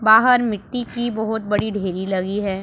बाहर मिट्टी की बहोत बड़ी ढेरी लगी है।